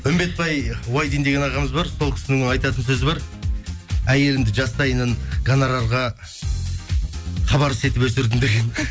үмбетпай уайдин деген ағамыз бар сол кісінің айтатын сөзі бар әйелімді жастайынан гонорарға хабарсыз етіп өсірдім деген